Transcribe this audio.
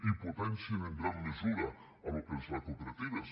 i potencien en gran mesura el que és la cooperativa